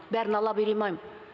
бәрін ала беремайм